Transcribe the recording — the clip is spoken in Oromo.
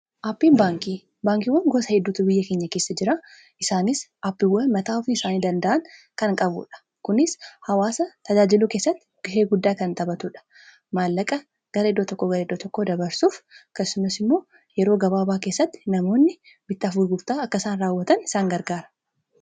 aappiin baankii baankiiwwan gosa hedduutuu biyya keenya keessa jira isaanis aappiiwwa mataa ufii isaanii danda'an kan qabuudha kunis hawaasa tajaajiluu keessatti gusee guddaa kan xaphatuudha maallaqa gara iddo tokko gara iddo tokkoo dabarsuuf kasumas immoo yeroo gabaabaa keessatti namoonni bittiafu gurtaa akkasaan raawwatan isaan gargaara